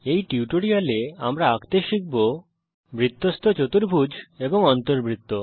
এই টিউটোরিয়াল এ আমরা আঁকতে শিখব বৃত্তস্থ চতুর্ভুজ এবং অন্তবৃত্ত